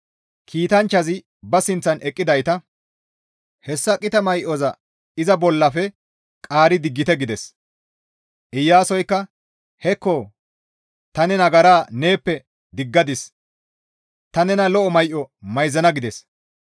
Kiitanchchazi ba sinththan eqqidayta, «Hessa qita may7oza iza bollafe qaari diggite» gides; Iyaasoska, «Hekko ta ne nagara neeppe diggadis; ta nena lo7o may7o mayzana» gides.